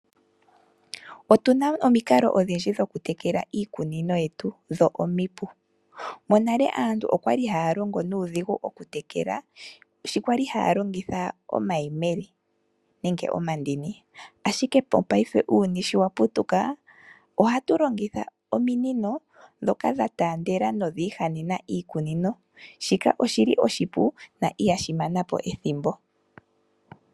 Otuna omikalo odhindji dhokutekela iikunino yetu, dho odhipu. Monale aantu monale okwali haya longo nuudhigu okutekela sho kwali haya longitha omayemele nenge omandini, ashike mopaife uuyuni sho waputuka ohatu longitha ominino dhoka dhatandela na odhihanena iikunino, shika oshi li oshipu na ihashi mana po ethimbo.